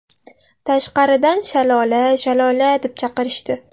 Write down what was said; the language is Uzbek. Tashqaridan ‘Shalola, Shalola’ deb chaqirishdi.